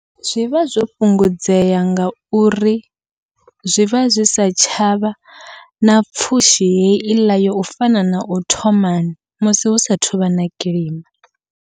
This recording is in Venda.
Zwivha zwo fhungudzea ngauri zwivha zwi sa tshavha na pfhushi heiḽa yo u fana nau thomani, musi hu sa thuvha na kilima.